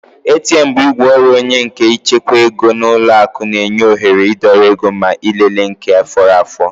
ATM bụ igwe ọrụ onwe nke ịchekwa ego n'ụlọ akụ na-enye oghere idọrọ ego ma ịlele nke fọrọ afọ